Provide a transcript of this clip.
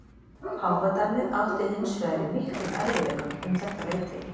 Páfadæmið átti hins vegar í miklum erfiðleikum um þetta leyti.